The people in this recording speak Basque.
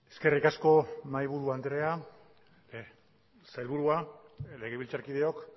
eskerrik asko mahaiburu andrea sailburua legebiltzarkideok